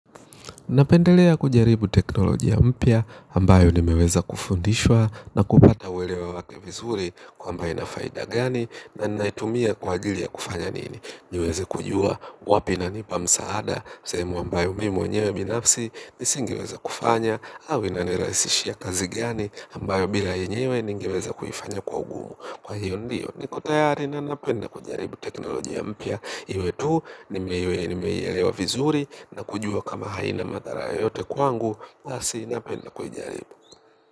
Napendelea kujaribu teknolojia mpya ambayo nimeweza kufundishwa na kupata uelewa wake vizuri kwamba ina faida gani na naitumia kwa ajili ya kufanya nini. Niweze kujua wapi inanipa msaada sehemu ambayo mimi mwenyewe binafsi nisingeweza kufanya au inaniraisishia kazi gani ambayo bila yenyewe ningeweza kuifanya kwa ugumu. Kwa hiyo ndiyo niko tayari na napenda kujaribu teknolojia mpya iwe tu nimeielewa vizuri na kujua kama haina mathara yoyote kwangu basi napenda kujaribu.